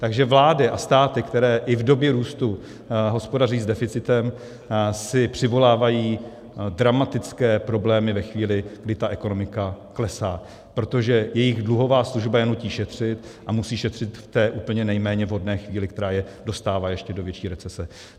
Takže vlády a státy, které i v době růstu hospodaří s deficitem, si přivolávají dramatické problémy ve chvíli, kdy ta ekonomika klesá, protože jejich dluhová služba je nutí šetřit, a musí šetřit v té úplně nejméně vhodné chvíli, která je dostává do ještě větší recese.